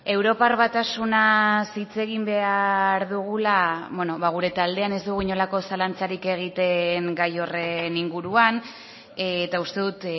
europar batasunaz hitz egin behar dugula gure taldean ez dugu inolako zalantzarik egiten gai horren inguruan eta uste dut